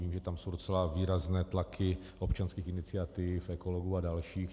Vím, že tam jsou docela výrazné tlaky občanských iniciativ, ekologů a dalších.